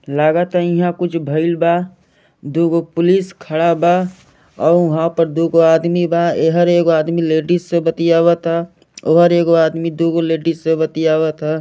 लागत इहा कुछ भइल बा दो गो पुलिस खड़ा बा अउ वहां पर दू गो आदमी बा ऐ हर एक लेडीज से बतिआवत ह अउ हर एक आदमी दू लोग लेडीज बतिआवत ह।